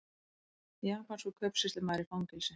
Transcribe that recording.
Japanskur kaupsýslumaður í fangelsi